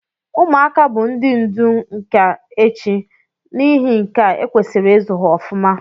Ụmuaka bu ndi ndu nka echi na ihi nkea ekwesiri izu ha ọfụma.